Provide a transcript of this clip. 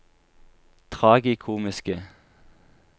tragikomiske